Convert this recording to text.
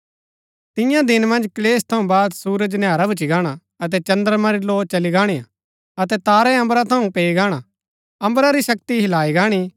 तियां दिन मन्ज क्‍लेश थऊँ बाद सुरज नैहरा भूच्ची गाणा अतै चन्द्रमा री लौ चली गाणिआ अतै तारै अम्बरा थऊँ पैई गाणै अम्बरा री शक्ति हिलाई गाणी